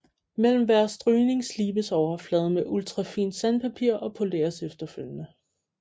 Mellem hver strygning slibes overfladen med ultrafint sandpapir og poleres efterfølgende